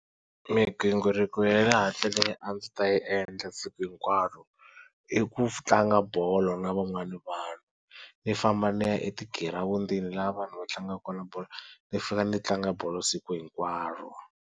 Migingiriko ya le handle leyi a ndzi ta yi endla siku hinkwaro i ku tlanga bolo na van'wana vanhu ni famba ni ya etigirawundini laha vanhu va tlangaka kona bolo ni fika ni tlanga bolo siku hinkwaro.